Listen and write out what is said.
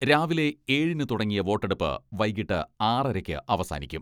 രാവിലെ ഏഴിന് തുടങ്ങിയ വോട്ടെടുപ്പ് വൈകിട്ട് ആറരക്ക് അവസാനിക്കും.